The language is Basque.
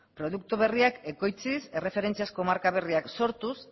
produktu berriak ekoitziz erreferentziazko markak sortuz